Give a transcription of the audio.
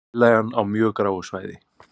Tillagan á mjög gráu svæði